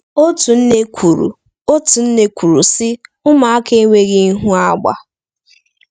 Otu nne kwuru, Otu nne kwuru, sị: “Ụmụaka enweghị ịhụ agba.”